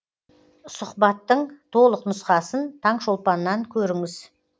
сұхбаттың толық нұсқасын таңшолпаннан көріңіз